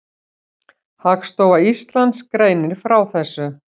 Hagstofa Íslands greinir frá þessu.